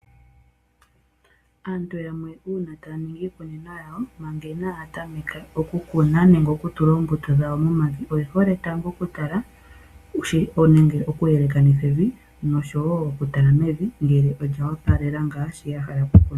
Aantu yamwe uuna taya ningi iikunino yawo, manga inaya tameka okukuna nenge oku tula oombuto dhawo momavi oye hole tango okutala nenge okuyelekanitha evi nosho wo okutala mevi ngele olya opalela ngaa shono ya hala okukuna.